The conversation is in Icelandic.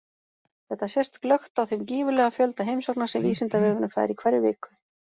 Þetta sést glöggt á þeim gífurlega fjölda heimsókna sem Vísindavefurinn fær í hverri viku.